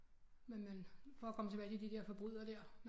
Men man for at komme tilbage til de der forbrydere der